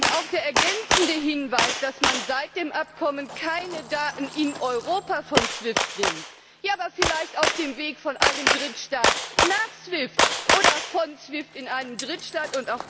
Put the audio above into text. Und auch der ergänzende Hinweis, dass man seit dem Abkommen keine Daten in Europa von SWIFT nimmt ja, aber vielleicht auf dem Weg von einem Drittstaat nach SWIFT, oder von SWIFT in einen Drittstaat!